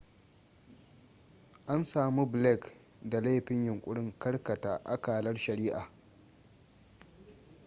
an samu blake da laifin yunkurin karkata akalar shari'ah